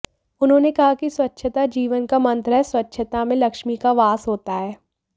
उन्होने कहा कि स्वच्छता जीवन का मंत्र है स्वच्छता में लक्ष्मी का वास होता है